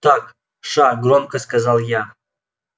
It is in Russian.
так ша громко сказал я